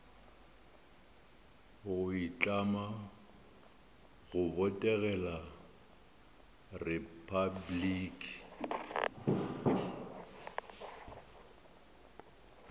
go itlama go botegela repabliki